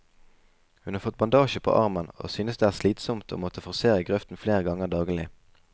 Hun har fått bandasje på armen, og synes det er slitsomt å måtte forsere grøften flere ganger daglig.